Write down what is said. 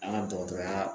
An ka dɔgɔtɔrɔya